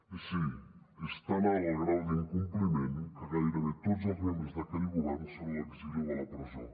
i sí és tan alt el grau d’incompliment que gairebé tots els membres d’aquell govern són a l’exili o a la presó